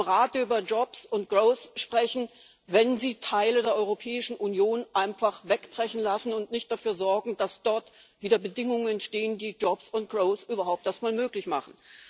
Wie wollen Sie im Radio über Jobs und growth sprechen, wenn Sie Teile der Europäischen Union einfach wegbrechen lassen und nicht dafür sorgen, dass dort wieder Bedingungen entstehen, die Jobs und growth überhaupt erst einmal möglich machen?